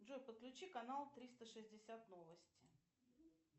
джой подключи канал триста шестьдесят новости